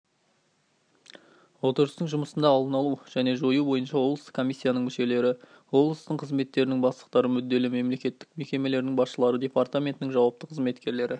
отырыстың жұмысында алдын алу және жою бойынша облыстық комиссияның мүшелері облыстың қызметтерінің бастықтары мүдделі мемлекеттік мекемелердің басшылары департаментінің жауапты қызметкерлері